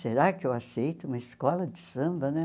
Será que eu aceito uma escola de samba né?